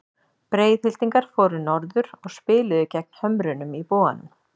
Breiðhyltingar fóru norður og spiluðu gegn Hömrunum í Boganum.